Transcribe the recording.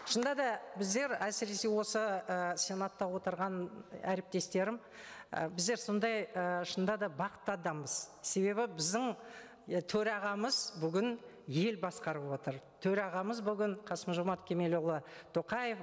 шынында да біздер әсіресе осы і сенатта отырған әріптестерім і біздер сондай ы шынында да бақытты адамбыз себебі біздің төрағамыз бүгін ел басқарып отыр төрағамыз бүгін қасым жомарт кемелұлы тоқаев